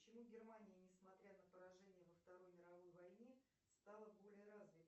почему германия не смотря на поражение во второй мировой войне стала более развитой